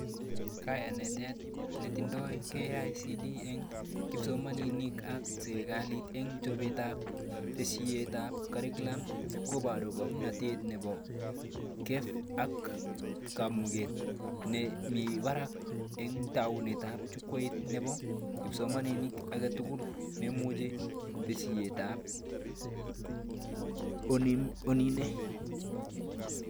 Kayanetet netindoi KICD eng kipsomanink, ak serikalit eng chobetab tesisyitab curriculum kobaru kemanatet nebo Kef ak kamuget nemibarak eng taunetab jukwait nebo kipsomaniat aketugul nemoche tesisyitab online